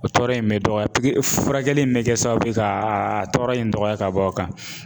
O tɔɔrɔ in bɛ dɔgɔya furakɛli in bɛ kɛ sababu ye ka a a tɔɔrɔ in dɔgɔya k'a bɔ o kan.